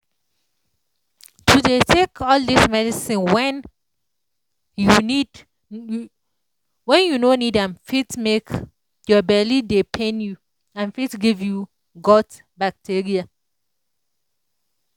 to dey take all dis medicine when when you no need am fit make your belly dey pain you and fit give you gut bacteria